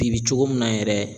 Bi bi cogo min na yɛrɛ